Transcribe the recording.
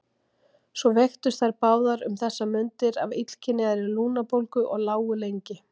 Svo veiktust þær báðar um þessar mundir af illkynjaðri lungnabólgu og lágu lengi.